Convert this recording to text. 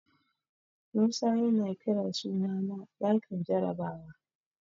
Musa yana kiran sunana a ɗakin jarabawa.